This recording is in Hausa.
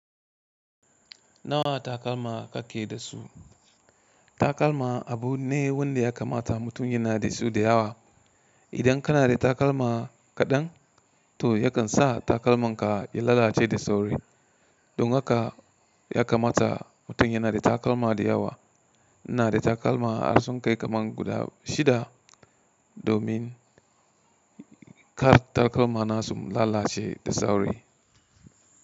Nawa takalma ka ke da su? Takalma abu ne wanda ya kamata mutum yana da su da yawa. Idan kana da takalma kaɗan, to yakan sa takalmanka ya lalace da sauri. Don haka ya kamata mutum yana da takalma da yawa. Ina da takalma har sun kai kaman guda shida domin kar takalmana su lalace da sauri.